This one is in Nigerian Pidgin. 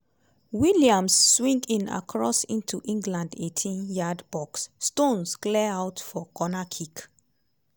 williams swing in cross into england eighteen yeard box stones clear out for corner kick.